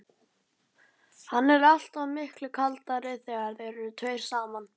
Hann er alltaf miklu kaldari þegar þeir eru tveir saman.